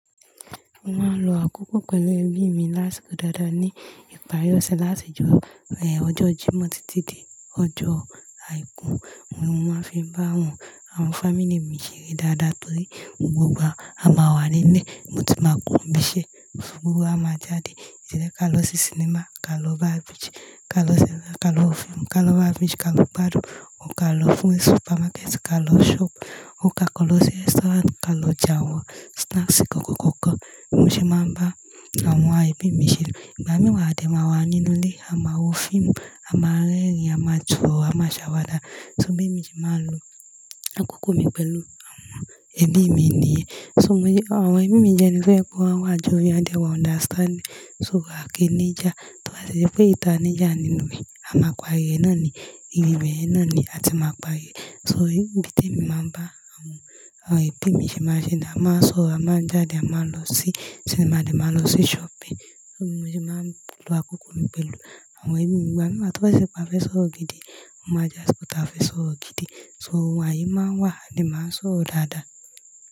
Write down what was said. Mo máa ń lo àkókò pẹ̀lú ẹbí mi lásìkò dáadáa ní ìparí ọ̀sẹ̀ láti ọjọ́ Jímọ̀ títí di ọjọ́ Àìkú. Mo máa ń fi bá àwọn family mi ṣeré dáadáa torí gbogba ama wáa wà nílé. Mo tun máa kúro nibíṣẹ́ gbọ́gbo wa máa jáde. Ejeka ká lọ sí cinema, ká lọ bá beach, ká lọ cinema ká lọ wo fíìmù, ká lọ bá beach, ká lọ gbádùn, or ká lọ fún supermarket, ká lọ shop, or ká lọ sí restaurant, ká lọ jẹ àwọn snacks kankan kankan. Mo ṣe máa ń bá àwọn ẹbí mi ṣeré. Ìgbà mìíràn wa adé máa wà nínú ilé, a máa wo fíìmù, a máa rẹ́rìn, a máa so oró, a máa ṣàwàdà. So bí emi se máa ń lo àkókò mi pẹ̀lú àwọn ẹbí mi nìyẹn. Àwọn ẹbí mi jẹ eni to je wípé a won wà jovial, a dé wà understanding. So a kìí ní ìjà, torí ba tie je wipẹ́ ìyi tia ní ìjà nínú a máa parí ré náà ni, ìbibeyen náà ni a ti máa parí rẹ̀. So ibí tí emi máa ń bá àwọn, àwọn ẹbí mi ṣe máa ń ṣe ni a máa sọ̀rọ̀, a máa jáde, a máa lọ sí cinema ni, a máa lọ sí shopping. Mo ṣe máa ń lo àkókò mi pẹ̀lú àwọn ẹbí mi. Ìgbà mìíràn wa tọ́ bá ṣe pé a fẹ́ sọ̀rọ̀ gidi, ó máa jẹ́ àṣiko tia fẹ́ sọ̀rọ̀ gidi. So ayé máa ń wà a de máa ń sọ̀rọ̀ dáadáa.